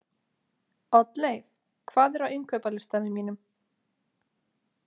Oddleif, hvað er á innkaupalistanum mínum?